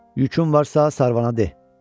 Yükün varsa, Sarvana de.